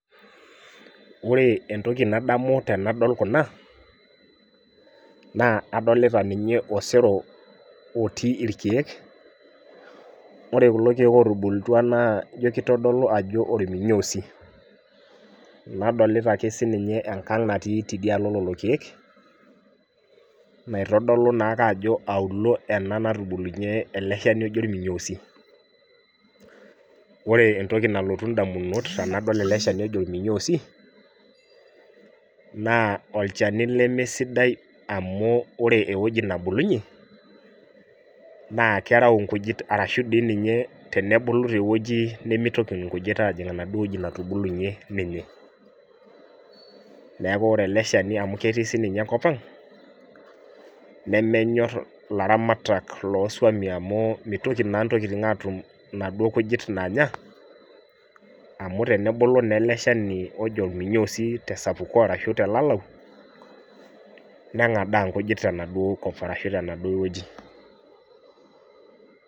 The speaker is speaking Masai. Wore entoki nadamu tenadol kuna, naa adolita ninye osero otii irkiek. Wore kulo kiek ootubulutua naa ijo kitodolu ajo olminyoosi. Nadolita ake sininye enkang natii tidialo lelo kiek, naitodolu naake ajo auluo ena natubulunye ele shani oji orminyoosi. Wore entoki nalotu indamunot tenadol ele shani oji orminyoosi, naa olchani leme sidai amu wore ewoji nabulunyie, naa kerau inkujit arashu dii ninye tenebulu tewoji nimitoki inkujit aajing enaduo woji natubulunye ninye. Neeku wore eleshani amu ketii sininye enkop ang', nemenyorr ilaramatak loosuamin amu mitoki naa intokitin aatum inaduo kujit naanya, amu tenebulu naa ele shani ojo olminyoosi tesapuko arashu telalau, nengadaa inkujit tenaduo kop arashu tenaduo wueji.